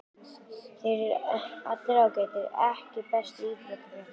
Þeir eru allir ágætir EKKI besti íþróttafréttamaðurinn?